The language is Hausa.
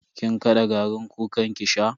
Kin kada garin kukan ki sha?